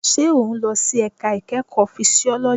Ṣé o n lọ sí ẹ̀ka ìkẹ́kọ̀ọ́ fisiọ́lọ́jì?